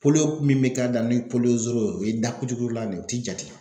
min bɛ k'a da ni zoro ye o o ye da kucukuculan ne ye u tɛ jate.